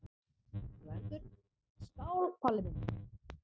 GVENDUR: Skál, Palli minn!